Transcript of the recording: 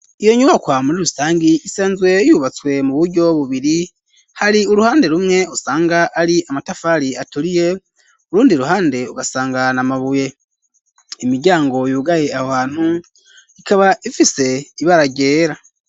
Iyo nyubakwa muri rusangi isanzwe yubatswe mu buryo bubiri hari uruhande rumwe usanga ari amatafari aturiye urundi ruhande ugasanga na mabuye imiryango yugaye aho ahantu ikaba ifise ibara ryera.